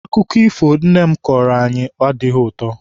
Akụkọ ifo nne m kọọrọ anyị adịghị ụtọ.